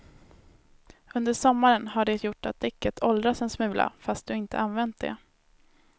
Under sommaren har det gjort att däcket åldrats en smula fast du inte använt det.